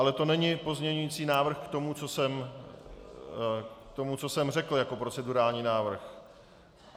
Ale to není pozměňující návrh k tomu, co jsem řekl jako procedurální návrh.